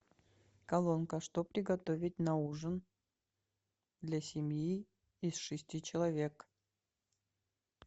колонка что приготовить на ужин для семьи из шести человек